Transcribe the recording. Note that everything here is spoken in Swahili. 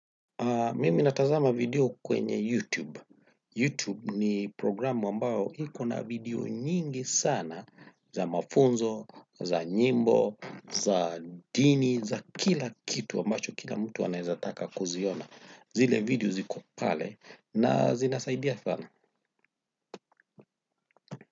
Mimi natazama video kwenye YouTube. YouTube ni programu ambao iko na video nyingi sana za mafunzo, za nyimbo, za dini, za kila kitu ambacho kila mtu anaezataka kuziona. Zile video ziko pale na zinasaidia sana.